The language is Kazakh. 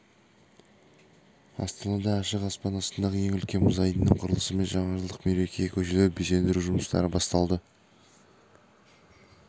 астанада ашық аспан астындағы ең үлкен мұз айдынының құрылысы мен жаңажылдық мерекеге көшелерді безендіру жұмыстары басталды